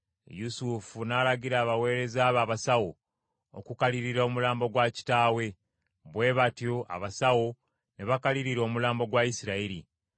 Yusufu n’alagira abaweereza be abasawo, okukalirira omulambo gwa kitaawe. Bwe batyo abasawo ne bakalirira omulambo gwa Isirayiri;